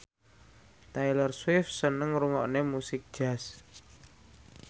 Taylor Swift seneng ngrungokne musik jazz